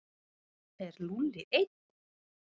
Er Lúlli einn?